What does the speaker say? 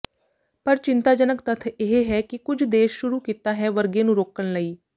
ਪਰ ਚਿੰਤਾਜਨਕ ਤੱਥ ਇਹ ਹੈ ਕਿ ਕੁਝ ਦੇਸ਼ ਸ਼ੁਰੂ ਕੀਤਾ ਹੈ ਵਰਗੇ ਨੂੰ ਰੋਕਣ ਲਈ